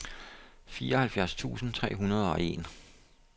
fireoghalvfjerds tusind tre hundrede og en